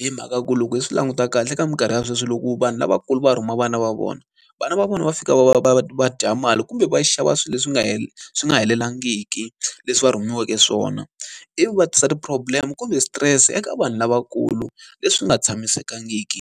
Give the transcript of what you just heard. Hi mhaka ku loko hi swi languta kahle eka minkarhi ya sweswi loko vanhu lavakulu va rhuma vana va vona, vana va vona va fika va va va dya mali kumbe va xava swilo leswi nga swi nga helelangiki leswi va rhumiweke swona. Ivi va tisa ti-problem kumbe stress eka vanhu lavakulu, leswi nga tshamisekangiki.